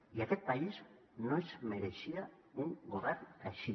i aquest país no es mereixia un govern així